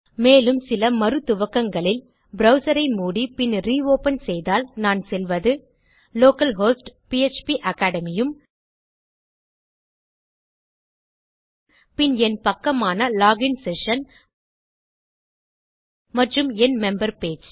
மேலும் சில மறு துவக்கங்களில் ப்ரவ்சர் ஐ மூடி பின் ரியோப்பன் செய்தால் நான் செல்வது லோக்கல் ஹோஸ்ட் பிஎச்பி அக்காடமி உம் பின் என் பக்கமான லோகின் செஷன் மற்றும் என் மெம்பர் பேஜ்